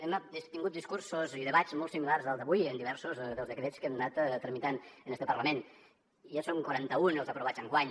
hem tingut discursos i debats molt similars al d’avui en diversos dels decrets que hem anat tramitant en este parlament i ja són quaranta un els aprovats enguany